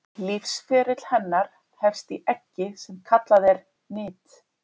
Lífsferill hennar hefst í eggi sem kallað er nit.